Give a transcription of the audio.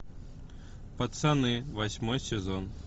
пацаны восьмой сезон